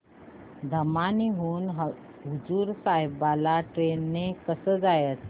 धामणी हून हुजूर साहेब ला ट्रेन ने कसं जायचं